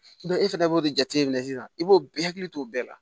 e fɛnɛ b'o de jateminɛ sisan i b'o bɛɛ hakili to o bɛɛ la